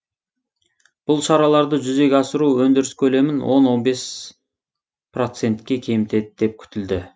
бұл шараларды жүзеге асыру өндіріс көлемін он он бес процентке кемітеді деп күтілді